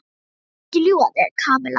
Ég vil ekki ljúga að þér, Kamilla.